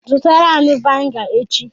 Zụtara anyi viniga echi!